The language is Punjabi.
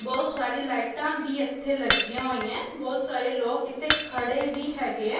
ਬਹੁਤ ਸਾਰੀ ਲਾਈਟਾਂ ਵੀ ਇੱਥੇ ਲੱਗੀਆਂ ਹੋਈਆਂ ਬਹੁਤ ਸਾਰੇ ਲੋਕ ਇੱਥੇ ਖੜੇ ਵੀ ਹੈਗੇ ਐ।